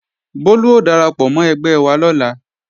Bólú ó darapọ̀ mọ́ ẹgbẹ́ wa lọ́la